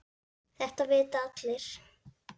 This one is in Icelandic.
Þetta vita allir.